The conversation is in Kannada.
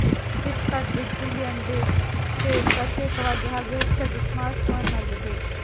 Flipkart big billion days sale ಪ್ರತ್ಯೇಕವಾಗಿ ಹಾಗು ಹೆಚ್ಚಾಗಿ ಸ್ಮಾರ್ಟ್ಫೋನಲ್ಲಿದೆ